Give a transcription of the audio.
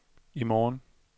i morgen